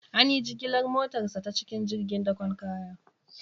An yi jigilar motarsa ​​ta cikin jirgin dakon kaya.